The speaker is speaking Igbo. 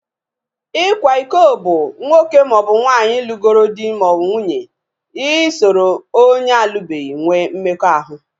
Ikwa iko bụ nwoke maọbụ nwaanyị lụgoro di/nwunye isoro onye alubeghi nwee mmekọahụ